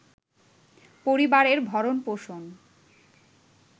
পরিবারের ভরণ-পোষণ